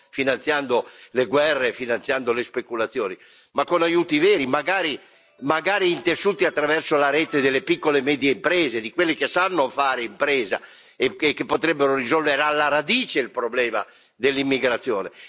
finanziando guerre e speculazioni, ma con aiuti veri, magari intessuti attraverso la rete delle piccole e medie imprese, di quelle che sanno fare impresa e che potrebbero risolvere alla radice il problema dell'immigrazione.